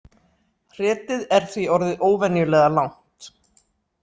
Hretið er því orðið óvenjulega langt